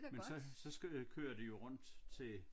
Men så så skal øh kører de jo rundt til